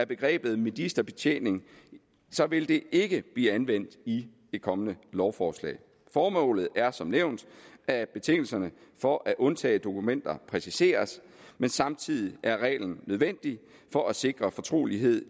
begrebet ministerbetjening vil det ikke blive anvendt i det kommende lovforslag formålet er som nævnt at betingelserne for at undtage dokumenter præciseres men samtidig er reglen nødvendig for at sikre fortrolighed